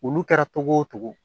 Olu kɛra togo o togo